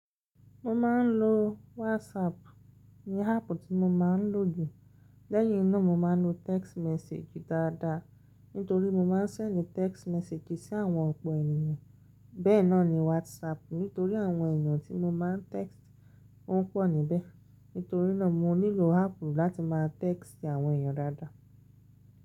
Mo máa ń lo WhatsApp ni háàpù tí mo máa ń lò jù. Lẹ́yìn náà mo máa ń lo text message dáadáa nítorí mo máa ń sẹ̀ndì text message sí àwọn ọ̀pọ̀ ènìyàn. Bẹ́ẹ̀ na ní WhatsApp nítorí àwọn ènìyàn tí mo máa ń text wọ́n pọ̀ níbẹ̀. Nítorí náà, mo nílò háàpù láti máa text àwọn ènìyàn dáadáa.